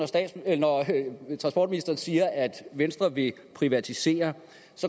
når transportministeren siger at venstre vil privatisere